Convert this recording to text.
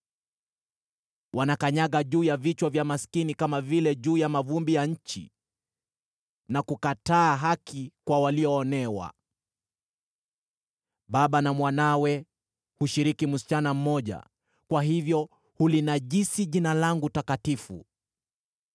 Wanakanyaga juu ya vichwa vya maskini, kama vile juu ya mavumbi ya nchi, na kukataa haki kwa walioonewa. Baba na mwanawe hushiriki msichana mmoja, kwa hivyo hulinajisi Jina langu takatifu.